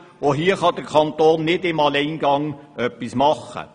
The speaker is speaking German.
Auch hier kann der Kanton nicht im Alleingang etwas machen.